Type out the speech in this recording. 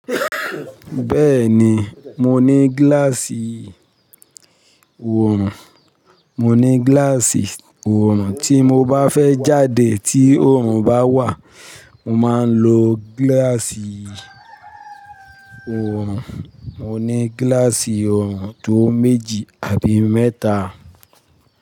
Bẹ́ẹ̀ni, mo ní gíláàsì oòrùn. Mo ní gíláàsì oòrùn, tí mo bá fẹ́ jáde tí oòrùn bá wà, mo máa ń lo gíláàsì oòrùn. Mo ní gíláàsì oòrùn tó méjì àbí mẹ́ta.